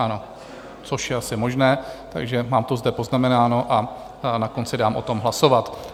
Ano, což je asi možné, takže mám to zde poznamenáno a na konci dám o tom hlasovat.